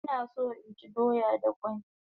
Ina so inchi doya da kwai